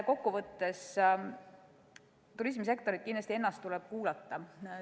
Turismisektorit ennast tuleb kindlasti kuulata.